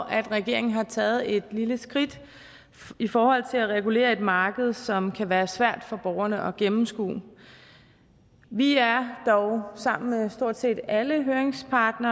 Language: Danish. at regeringen har taget et lille skridt i forhold til at regulere et marked som kan være svært for borgerne at gennemskue vi er dog sammen med stort set alle høringsparter